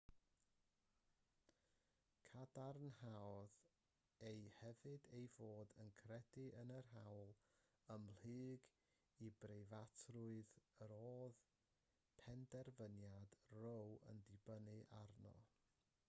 cadarnhaodd e hefyd ei fod yn credu yn yr hawl ymhlyg i breifatrwydd yr oedd penderfyniad roe yn dibynnu arno